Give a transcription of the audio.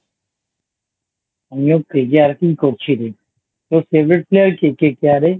আমিও KKR কেই করছি রে । তোর Favourite Player কে KKR এর ?